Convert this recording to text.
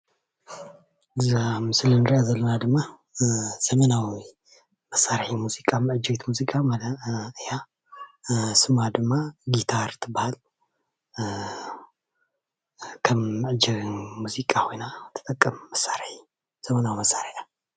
እዛ ኣብ ምስሊ እንሪኣ ዘለና ድማ ሰሜናዊ መሳርሒ ሙዚቃ መዐጀቢት ሙዚቃ ማለት እያ፡፡ ስማ ድማ ጊታር ትባሃል፡፡ ከም መዐጀቢ ሙዚቃ ኮይና ትጠቅም ዘመናዊ መሳርሒ እያ፡፡